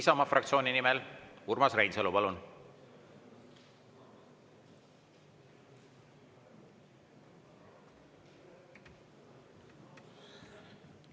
Isamaa fraktsiooni nimel Urmas Reinsalu, palun!